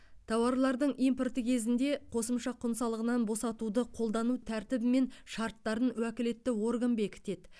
тауарлардың импорты кезінде қосымша құн салығынан босатуды қолдану тәртібі мен шарттарын уәкілетті орган бекітеді